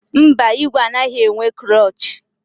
Mba, ìgwè anaghị enwe klọọchị.